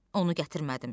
Onu gətirmədim.